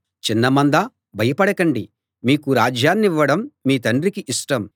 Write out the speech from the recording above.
చిన్న మందా భయపడకండి మీకు రాజ్యాన్నివ్వడం మీ తండ్రికి ఇష్టం